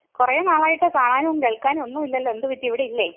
കുറെ നാളായിട്ട് കാണാനും കേൾക്കാനും ഒന്നും ഇല്ലല്ലോ. എന്ത് പറ്റി ഇവിടെയില്ലേ?